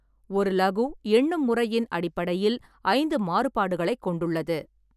ஒரு லகு எண்ணும் முறையின் அடிப்படையில் ஐந்து மாறுபாடுகளைக் கொண்டுள்ளது.